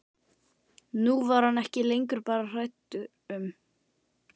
Nú var hann ekki lengur bara hræddur um